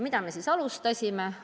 Mida me siis alustasime?